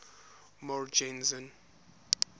morgenzon